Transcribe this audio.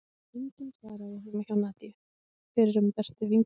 Enginn svaraði heima hjá Nadíu, fyrrum bestu vinkonu